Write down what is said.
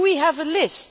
Do we have a list?